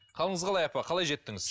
қалыңыз қалай апа қалай жеттіңіз